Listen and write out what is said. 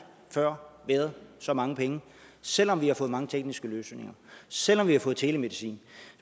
før været så mange penge selv om vi har fået mange tekniske løsninger selv om vi har fået telemedicin